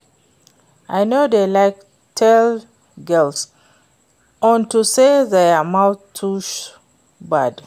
I no dey like tall girls unto say their mouth too bad